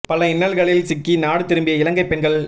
பல இன்னல்களில் சிக்கி நாடு திரும்பிய இலங்கை பெண்கள்